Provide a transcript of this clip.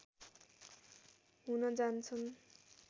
हुन जान्छन्।